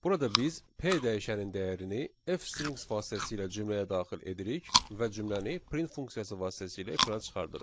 Burada biz P dəyişənin dəyərini F strings vasitəsilə cümləyə daxil edirik və cümləni print funksiyası vasitəsilə ekrana çıxardırıq.